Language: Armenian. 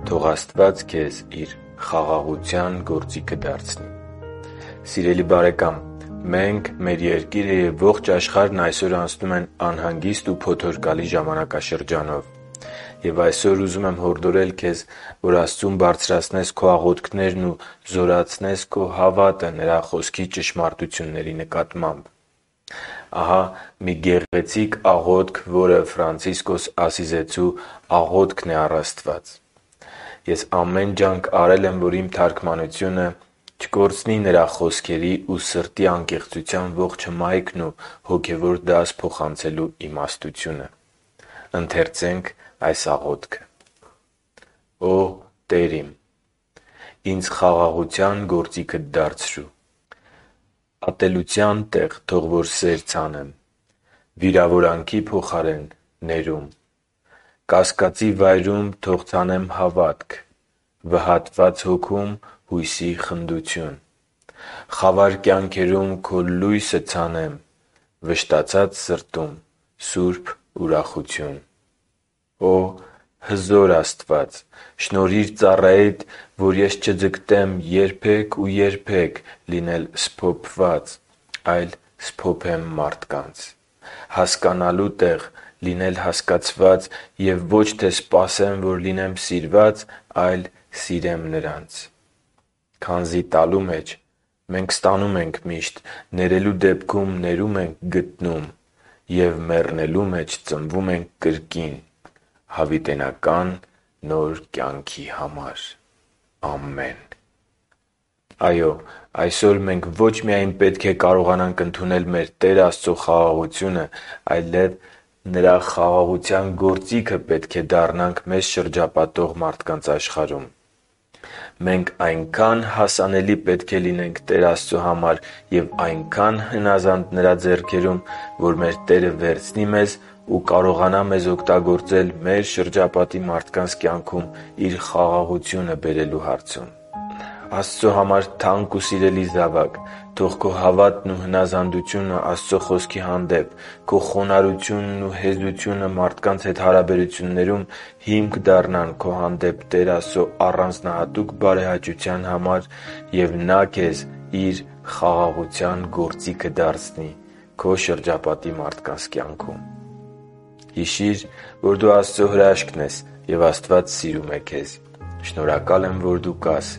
Թո՛ղ Աստված քեզ Իր խաղաղության գործիքը դարձնի Սիրելի՛ բարեկամ, մենք, մեր երկիրը և ողջ աշխարհն այսօր անցնում են անհանգիստ ու փոթորկալի ժամանակաշրջանով։ Եվ այսօր ուզում եմ հորդորել քեզ, որ դեպի Աստված բարձրացրնես քո աղոթքներն ու զորացնես քո հավատը Նրա Խոսքի ճշմարտությունների նկատմամբ։ Ահա մի գեղեցիկ աղոթք, որը Ֆրանցիսկոս Ասիզեցու աղոթքն է առ Աստված։ Ամեն ջանք արել եմ, որ իմ թարգմանությունը չկորցնի նրա խոսքերի ու սրտի անկեղծության ողջ հմայքն ու հոգևոր դաս փոխանցելու իմաստությունը․ «Օ՜, Տեր իմ, Ինձ խաղաղության գործիքդ դարձրու: Ատելության տեղ՝ թող որ սեր ցանեմ, Վիրավորանքի փոխարեն՝ ներում, Կասկածի վայրում՝ թող ցանեմ հավատք, Վհատված հոգում՝ հույսի խնդություն, Խավար կյանքերում Քո լույսը ցանեմ, Վշտացած սրտում՝ սուրբ ուրախություն: Օ՜, հզոր Աստված, շնորհիր ծառայիդ Որ ես չձգտեմ երբե՛ք ու երբե՛ք Լինել սփոփված, այլ սփոփեմ մարդկանց, Հասկանալու տեղ՝ լինել հասկացված Եվ ոչ թե սպասեմ, որ լինեմ սիրված, Այլ սիրեմ նրանց... Քանզի տալու մեջ մենք ստանում ենք միշտ, Ներելու դեպքում՝ ներում ենք գտնում, Եվ մեռնելու մեջ ծնվում ենք կրկին Հավիտենական նոր կյանքի համար: Ամեն»։ Այո՛, այսօր մենք ոչ միայն պետք է կարողանանք ընդունել մեր Տեր Աստծո խաղաղությունը, այլև Նրա խաղաղության գործիքը պետք է դառնանք մեզ շրջապատող աշխարհում։ Մենք այնքա՜ն հասանելի պետք է լինենք Տեր Աստծո համար և այնքա՜ն հնազանդ Նրա ձեռքերում, որ մեր Տերը վերցնի մեզ ու կարողանա մեզ օգտագործել մեր շրջապատի մարդկանց կյանքում Իր խաղաղությունը բերելու հարցում։ Աստծո համար թանկ ու սիրելի զավա՛կ, թո՛ղ քո հավատն ու հնազանդությունը Աստծո Խոսքի հանեպ, քո խոնարհությունն ու հեզությունը մարդկանց հետ հարաբերություններում հիմք դառնան քո հանդեպ Տեր Աստծո առանձնահատուկ բարեհաճության, և Նա քեզ Իր խաղաղության գործիքը դարձնի։ Հիշի՛ր, որ դու Աստծո հրաշքն ես, և Աստված սիրում է քեզ։ Շնորհակալ եմ, որ դու կա՛ս